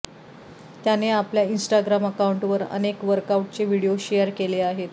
त्याने आपल्या इंस्टाग्राम अकाउंटवर अनेक वर्कआउटचे व्हिडीओ शेअर केले आहेत